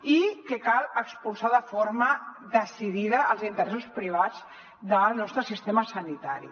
i cal expulsar de forma decidida els interessos privats del nostre sistema sanitari